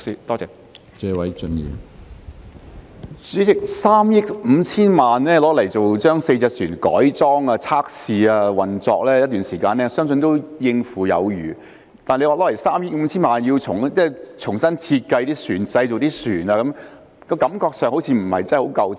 主席，用3億 5,000 萬元將4艘渡輪改裝、測試及運作一段時間，相信是足夠有餘的。但是，如果用3億 5,000 萬元重新設計及製造船隻，感覺上好像不太足夠。